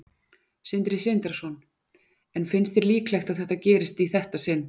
Sindri Sindrason: En finnst þér líklegt að það gerist í þetta sinn?